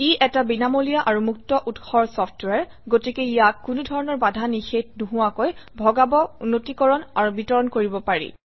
ই এটা বিনামূলীয়া আৰু মুক্ত উৎসৰ চফট্ৱেৰ গতিকে ইয়াক কোনো ধৰণৰ বাধা নিষেধ নোহোৱাকৈ ভগাব উন্নীতকৰণ আৰু বিতৰণ কৰিব পাৰি